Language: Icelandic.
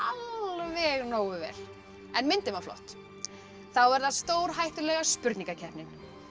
alveg nógu vel en myndin var flott þá er það stórhættulega spurningakeppnin